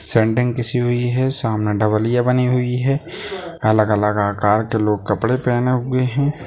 Sending किसी हुई है सामने डबलीया बनी हुई है अलग अलग आकार के लोग कपड़े पहने हुए है।